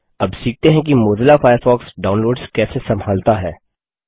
अब सीखते है कि मोज़िला फ़ायरफ़ॉक्स डाउनलोड्स कैसे संभालता है